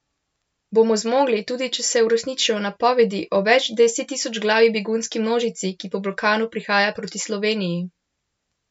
Bomo zmogli, tudi če se uresničijo napovedi o več desettisočglavi begunski množici, ki po Balkanu prihaja proti Sloveniji?